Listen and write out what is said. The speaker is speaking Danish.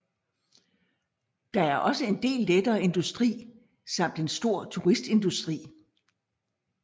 Der er også en del lettere industri samt en stor turistindustri